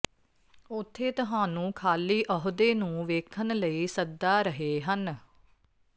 ਉੱਥੇ ਤੁਹਾਨੂੰ ਖਾਲੀ ਅਹੁਦੇ ਨੂੰ ਵੇਖਣ ਲਈ ਸੱਦਾ ਰਹੇ ਹਨ